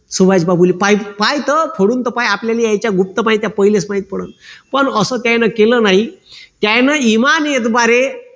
सुभाषबाबुले पाय तर खोलून तर पाय आपल्याला याच्या गुप्त माहित्या पाहिलेच माहित पडेल पण असं त्यांनी केलं नाही त्यांनी इमानीद्वारे